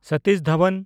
Satish Dhawan